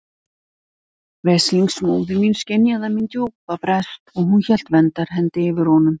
Veslings móðir mín skynjaði minn djúpa brest og hún hélt verndarhendi yfir honum.